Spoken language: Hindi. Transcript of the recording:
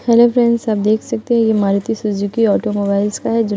हेलो फ्रेंड्स आप देख सकते हो ये मारुति सुजुकी ऑटोमोबाइल्स का है जो --